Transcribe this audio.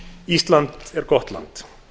ísland er gott land